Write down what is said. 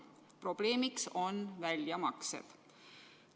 Probleemiks on väljamaksed.